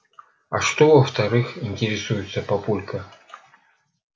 а что во-вторых интересуется папулька